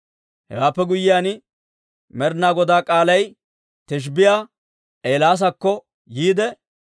Hewaappe guyyiyaan Med'inaa Godaa k'aalay Tishbbiyaa Eelaasakko yiide,